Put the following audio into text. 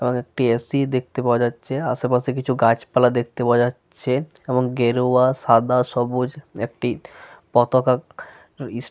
এবং একটি এ.সি. দেখতে পাওয়া যাচ্ছে। আশেপাশে কিছু গাছপালা দেখতে পাওয়া যাচ্ছে এবং গেরুয়া সাদা সবুজ একটি পতাকা ইস --